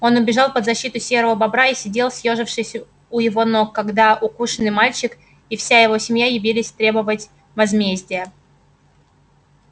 он убежал под защиту серого бобра и сидел съёжившись у его ног когда укушенный мальчик и вся его семья явились требовать возмездия